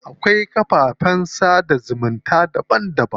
Akwai kafafen sada zumunta daban daban.